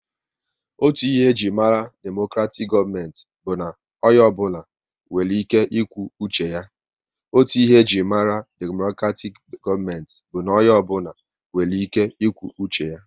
Otu ihe e jiri mara demokratik gọọmenti bụ na onye ọ bụla nwere ike ịkwu uche ya